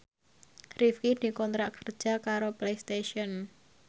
Rifqi dikontrak kerja karo Playstation